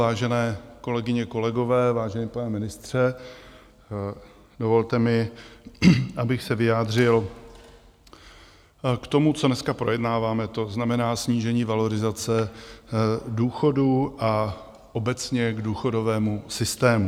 Vážené kolegyně, kolegové, vážený pane ministře, dovolte mi, abych se vyjádřil k tomu, co dneska projednáváme, to znamená snížení valorizace důchodů a obecně k důchodovému systému.